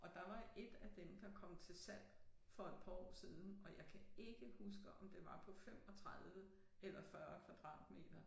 Og der var 1 af dem der kom til salg for et par år siden og jeg kan ikke huske om det var på 35 eller 40 kvadratmeter